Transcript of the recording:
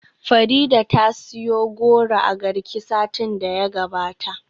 Farida ta siyo goro a Garki satin da ya gabata.